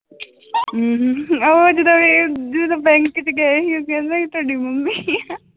ਹਮ ਉਹ ਜਦੋਂ ਇਹ ਜਦੋਂ bank ਚ ਗਏ ਸੀ ਕਹਿੰਦਾ ਕਿ ਤੁਹਾਡੀ ਮੰਮੀ ਆ